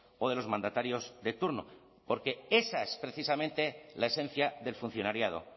o de los mandatarios de turno porque esa es precisamente la esencia del funcionariado